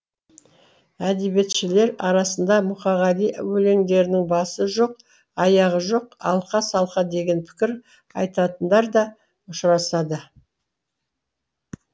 әдебиетшілер арасында мұқағали өлеңдерінің басы жоқ аяғы жоқ алқа салқа деген пікір айтатындар да ұшырасады